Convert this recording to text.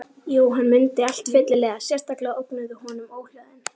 Jú, hann mundi allt fyllilega, sérstaklega ógnuðu honum óhljóðin.